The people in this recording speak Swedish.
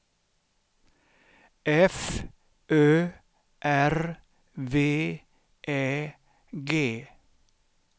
F Ö R V Ä G